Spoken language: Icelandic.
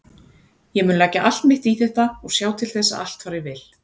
Ég mun leggja allt mitt í þetta og sjá til þess að allt fari vel.